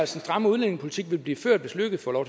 stramme udlændingepolitik som vil blive ført hvis løkke får lov